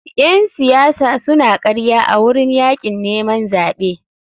Ƴen siyasa suna karya a wurin yakin neman zaɓe.